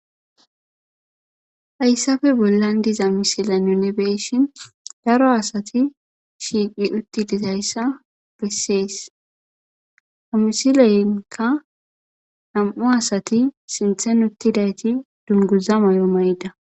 Hayssapoe ballora diza misile bolla be'ishin daro asati shiiqi utti dizayssa bessees. Ha misilenkka nam'u asati sinththara uttidayti dunguza mayo mayi'idetees.